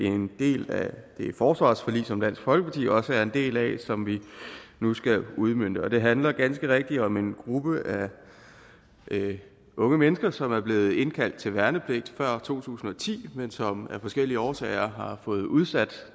en del af det forsvarsforlig som dansk folkeparti også er en del af som vi nu skal udmønte og det handler ganske rigtigt om en gruppe af unge mennesker som er blevet indkaldt til værnepligt før to tusind og ti men som af forskellige årsager har fået udsat